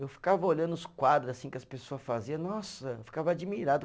Eu ficava olhando os quadro assim que as pessoa fazia, nossa, eu ficava admirado.